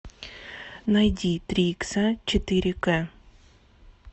найди три икса четыре кэ